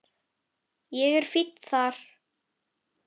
Ég er fínn þar.